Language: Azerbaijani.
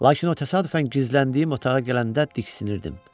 Lakin o təsadüfən gizləndiyim otağa gələndə diksinirdim.